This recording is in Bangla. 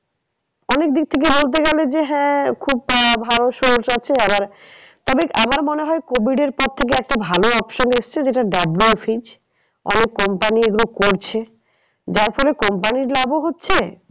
অনেক দিক থেকে বলতে গেলে যে হ্যাঁ খুব ভালো source আছে আবার তবে আমার মনে হয় covid এর পর থেকে একটা ভালো option এসছে যেটা WFH অনেক company এগুলো করছে। যার ফলে company র লাভ ও হচ্ছে